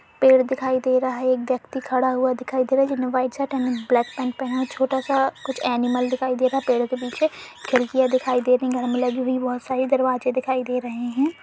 पेड़ दिखाई दे रहा है एक व्यक्ति खड़ा हुआ दिखाई दे रहा है जिस ने वाइट शर्ट और ब्लेक पेंट पहेना छोटा सा कुछ एनिमल दिखाय दे रहा है पेड़ के पीछे खिडकियां दिखाई दे रही हैं घर में लगी हुई बहोत सारे दरवाजे दिखाइ दे रहे हैं ।